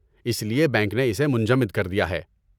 اس لیے بینک نے اسے منجمد کر دیا ہے۔